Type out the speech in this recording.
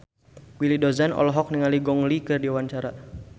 Willy Dozan olohok ningali Gong Li keur diwawancara